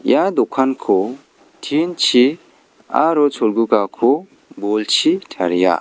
ia dokanko tin-chi aro cholgugako bolchi taria.